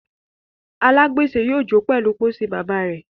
alagbese yóò jo pèlú pósí bàbà rẹ.